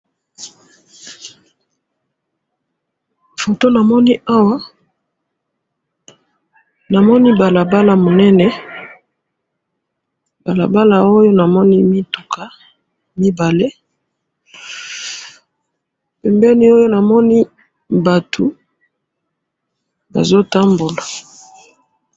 photo na moni awa na moni balabala munene balabala oyo na moni mituka mibale pembeni oyo na moni batu bazo tambola